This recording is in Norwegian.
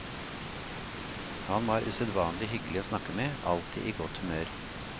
Han var usedvanlig hyggelig å snakke med, alltid i godt humør.